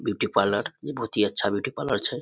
Beauty parlour इ बहुत ही अच्छा ब्यूटी पार्लर छै।